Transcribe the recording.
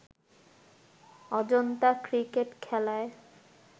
Ajanta cricket খেলায়